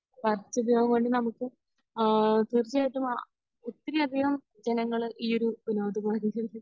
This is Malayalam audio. നമുക്ക് ആഹ് തീർച്ചയായിട്ടും ഒത്തിരി അധികം ജനങ്ങൾ ഈ ഒരു വിനോദോപാദികൾ